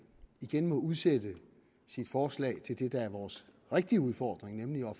igen må udsætte sit forslag til det der er vores rigtige udfordring nemlig at